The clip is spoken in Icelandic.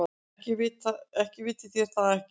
Eða vitið þér það ekki.